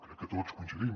crec que tots hi coincidim